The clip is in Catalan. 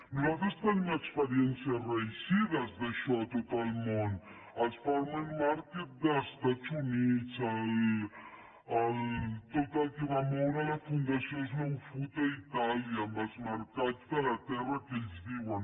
nosaltres tenim experiències reeixides d’això a tot al món els farmers marketva moure la fundació slow food a itàlia amb els mercats de la terra que ells diuen